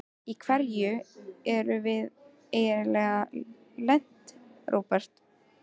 Í hverju erum við eiginlega lent, Róbert?